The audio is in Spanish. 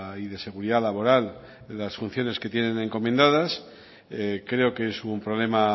y de seguridad laboral de las funciones que tienen encomendadas creo que es un problema